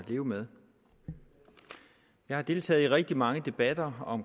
leve med jeg har deltaget i rigtig mange debatter om